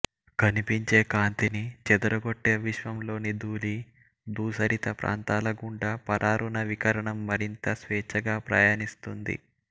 కనిపించే కాంతిని చెదరగొట్టే విశ్వం లోని ధూళి ధూసరిత ప్రాంతాల గుండా పరారుణ వికిరణం మరింత స్వేచ్ఛగా ప్రయాణిస్తుంది